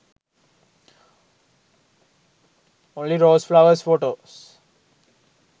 only rose flowers photos